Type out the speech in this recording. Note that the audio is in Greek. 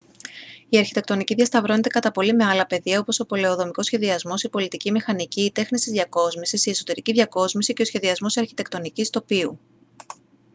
η αρχιτεκτονική διασταυρώνεται κατά πολύ με άλλα πεδία όπως ο πολεοδομικός σχεδιασμός η πολιτική μηχανική οι τέχνες της διακόσμησης η εσωτερική διακόσμηση και ο σχεδιασμός αρχιτεκτονικής τοπίου